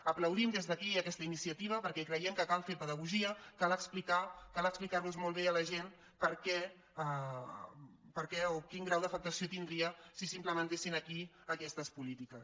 aplaudim des d’aquí aquesta iniciativa perquè creiem que cal fer pedagogia cal explicar los molt bé a la gent per què o quin grau d’afectació tindria si s’implementessin aquí aquestes polítiques